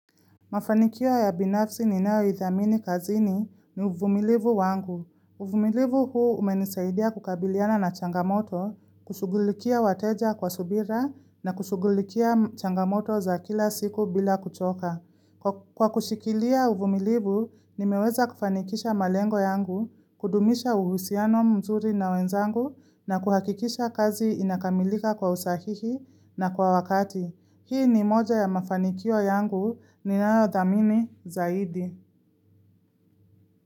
Mafanikio ya binafsi ni nao ithamini kazini ni uvumilivu wangu. Uvumilivu huu umenisaidia kukabiliana na changamoto, kushugulikia wateja kwa subira na kushugulikia changamoto za kila siku bila kuchoka. Kwa kushikilia uvumilivu, nimeweza kufanikisha malengo yangu, kudumisha uhusiano mzuri na wenzangu na kuhakikisha kazi inakamilika kwa usahihi na kwa wakati. Hii ni moja ya mafanikio yangu ninayothamini Zaidi.